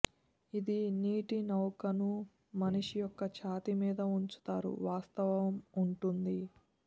ఇది నీటి నౌకను మనిషి యొక్క ఛాతీ మీద ఉంచుతారు వాస్తవం ఉంటుంది